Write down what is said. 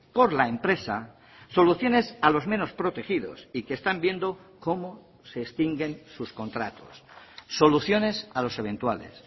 por la empresa soluciones a los menos protegidos y que están viendo cómo se extinguen sus contratos soluciones a los eventuales